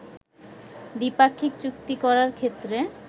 দ্বিপাক্ষিক চুক্তি করার ক্ষেত্রে